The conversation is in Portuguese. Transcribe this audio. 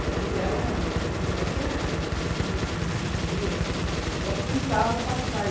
E ela não, tanto é que eu tinha aquele hashi, ela ten ela tentava passar.